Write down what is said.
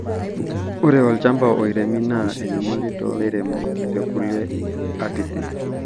Ore olchampa oiremi naa enyamali too lairemok te kulie atitin